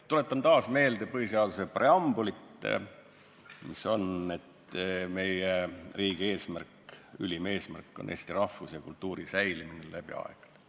Tuletan taas meelde põhiseaduse preambulit, mille järgi meie riigi ülim eesmärk on tagada Eesti rahvuse ja kultuuri säilimine läbi aegade.